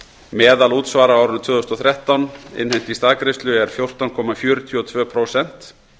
meðalútsvar á árinu tvö þúsund og þrettán innheimt í staðgreiðslu er fjórtán komma fjörutíu og tvö prósent